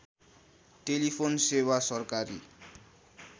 telephone सेवा सरकारी